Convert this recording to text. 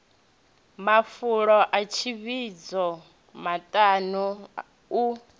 mafulo a tsivhudzo maṱano u